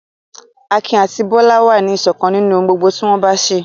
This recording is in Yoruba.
Akin àti Bólú wà ní ìṣọ̀kan nínú ohun gbogbo tí wọ́n bá ń ṣe.